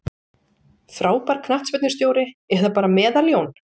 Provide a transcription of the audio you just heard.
Frábær knattspyrnustjóri eða bara meðal-Jón?